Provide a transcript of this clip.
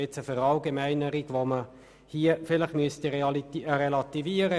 Diese Verallgemeinerung muss relativiert werden.